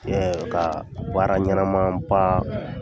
Ɛɛ ka baara ɲɛnama ba